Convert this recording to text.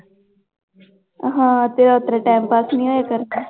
ਹਾਂ ਤੇਰਾ ਉੱਥੇ time pass ਨੀ ਹੋਇਆ ਕਰਨਾ।